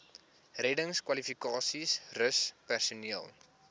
reddingskwalifikasies rus personeel